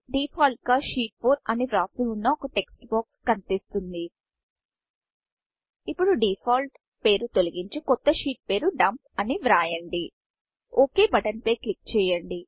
default గా sheet 4 అని వ్రాసి వున్న ఒక టెక్స్ట్బాక్స్ కనిపిస్తుంది ఇప్పుడు డిఫాల్ట్ డిఫాల్ట్ పేరు తొలగించి కొత్త షీట్ పేరు Dumpడంప్ అని వ్రాయండి ఒక్ బటన్ ఓక్ బటన్పై క్లిక్ చేయండి